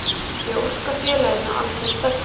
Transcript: Ég óska félaginu alls hins besta.